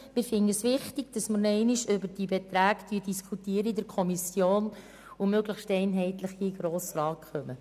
Wir finde es wichtig, nochmals in der Kommission über diese Beträge zu diskutieren, um diese möglichst einheitlich dem Grossen Rat vorzulegen.